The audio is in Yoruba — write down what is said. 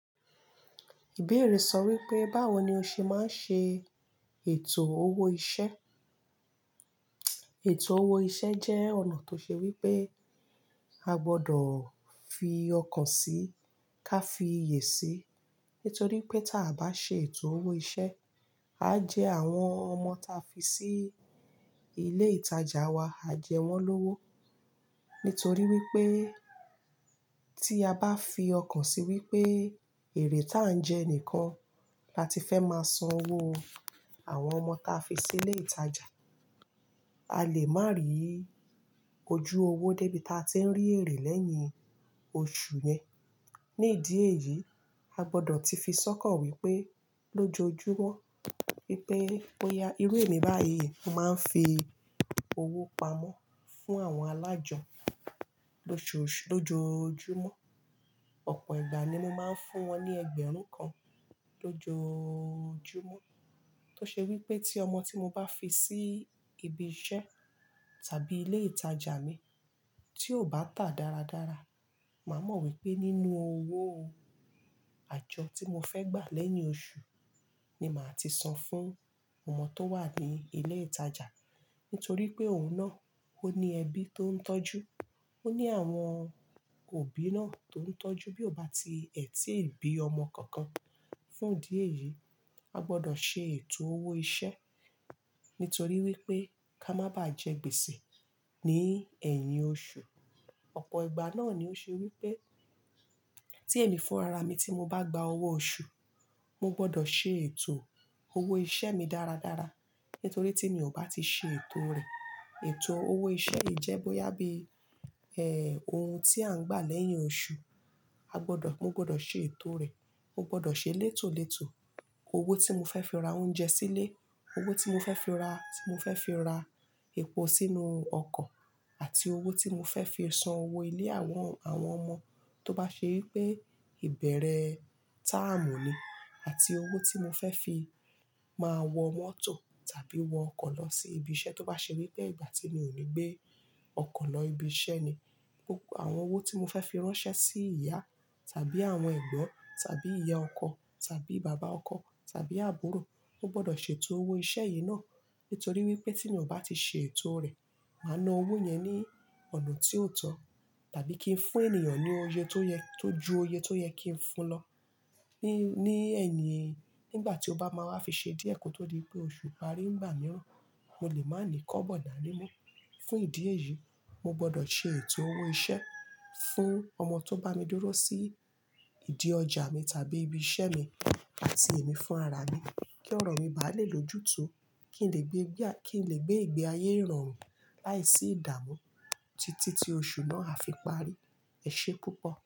Ìbéèrè sọ wípé, báwo ni o ṣe máa ń ṣe ètò owó iṣẹ́? Ètò owó iṣẹ́ jẹ́ ọ̀nà tó ṣe wípé a gbọ́dọ̀ fi ọkàn sí ka fi iyè sí. Nítorí pé ta bá ṣe ètò owó iṣẹ́, a jẹ àwọn ọmọ ta fi sí ilé ìtajà wa, a jẹ wọ́n lówó. Nítorí wípé tí a bá fi ọkàn sí wípé èré ta ń jẹ nìkan la ti fẹ́ máa san owó àwọn ọmọ ta fi sí ilé ìtajà, a lè má rí ojú owó débi tá a tí ń rí èré lẹ́yìn oṣù yẹn. Ní ìdí èyí, a gbọ́dọ̀ ti fi sọ́kọ̀ wípé lójoojúmọ́ wípé bóyá irú èmi báyìí, mo máa ń fi owó pamọ́ fún àwọn alájọ lójoojúmọ́. Ọ̀pọ̀ ìgbà ni mo máa ń fún wọn ní ẹgbẹ̀rún kan lójoojúmọ́. Tó ṣe wípé tí ọmọ tí mo bá fi sí ibi iṣẹ́ tàbí ilé ìtajà mi, tí ò bá tà dáradára, màá mọ̀ wípé nínú owó àjọ tí mo fẹ́ gbà lẹ́yìn oṣù ni màá ti san fún ọmọ tó wà ní ilé ìtajà. Nítorí pé òun náà ó ní ẹbí tó ń tọ́jú, ó ní àwọn òbí náà tó ń tọ́jú. Bí ò bá ti ètí bí ọmọ kankan. Fún ìdí èyí, a gbọ́dọ̀ ṣe ètò owó iṣẹ́. Nítorí wípé ká má bá jẹ gbèsè ní ẹ̀yìn oṣù. Ọ̀pọ̀ ìgbà náà ni ó ṣe wípé tí èmi fún ara mi tí mo bá gba owó oṣù, mo gbọ́dọ̀ ṣe ètò owó iṣẹ́ mi dáradára. Nítorí tí mi ò bá ti ṣe ètò rẹ̀, ètò owó iṣẹ́ yìí jẹ́ bóyá bí, ohun tí à ń gbà lẹ́yìn oṣù, a gbọ́dọ̀, mo gbọ́dọ̀ ṣe ètò rẹ̀. Mo gbọ́dọ̀ ṣe létòlétò owó tí mo fẹ́ fi ra oúnjẹ sílé, owó tí mo fẹ́ fi ra, tí mo fẹ́ fi ra epo sínú ọkọ̀ àti owó tí mo fẹ́ fi san owó ilé àwọn, àwọn ọmọ tó bá ṣe wípé ìbẹ̀rẹ̀ táàmù ni àti owó tí mo fẹ́ fi máa wọ mọ́tò tàbí wọ ọkọ̀ lọ sí ibi iṣẹ́ tó bá ṣe wípé ìgbà tí mi ò ní gbé ọkọ̀ lọ ibi iṣẹ́ ni. Àwọn owó tí mo fẹ́ fi ránṣẹ́ sí ìyá tàbí àwọn ẹ̀gbọ́n tàbí ìyá ọkọ tàbí bàbá ọkọ tàbí àbúrò, mo gbọ́dọ̀ ṣe ètò owó iṣẹ́ yìí náà. Nítorí wípé tí mi ò bá ti ṣe ètò rẹ̀, màá na owó yẹn ní ọ̀nà tí ò tọ̀ tàbí kí n fún ènìyàn ní oyè tó yẹ, tó ju oyè tó yẹ kí n fun lọ. Ni, ní ẹ̀yìn, nígbà tí ó bá máa wá fi ṣe díẹ̀ kó tó di pé oṣù parí ń gbà mìíràn, mo lè má ni kọ́bọ̀ dá ní mo. Fún ìdí èyí, mo gbọ́dọ̀ ṣe ètò owó iṣẹ́ fún ọmọ tó bá mi dúró sí ìdí ọjà mi tàbí ibi iṣẹ́ mi àti èmi fún ara mi kí ọ̀rọ̀ mi bá lè lójún túú, kí n lè gbé, kí n lè gbé ìgbé ayé irọrùn láìsí ìdààmú títí tí oṣù náà á fi parí. Ẹ̀ṣé púpọ̀.